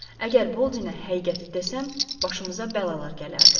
Əgər Boldinə həqiqəti desəm, başımıza bəlalar gələrdi.